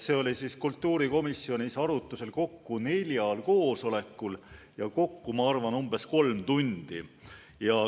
See eelnõu oli kultuurikomisjonis arutusel neljal koosolekul ja kokku, ma arvan, umbes kolm tundi.